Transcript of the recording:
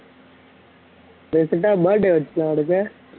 recent ஆ birthday வந்துச்சுல அவனுக்கு